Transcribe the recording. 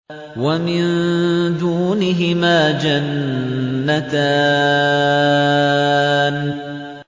وَمِن دُونِهِمَا جَنَّتَانِ